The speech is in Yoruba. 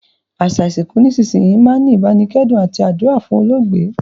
Àsà ìsinkù nísinsìnyi máa n ni ìbánikẹ́dùn àti àdúrà fún olóògbé